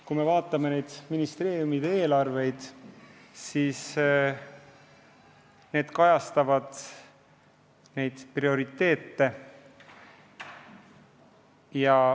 Kui me vaatame ministeeriumide eelarveid, siis need kajastavad prioriteete.